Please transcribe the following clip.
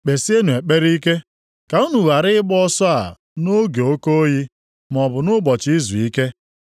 Kpesienụ ekpere ike ka unu ghara ịgba ọsọ a nʼoge oke oyi, maọbụ nʼụbọchị izuike.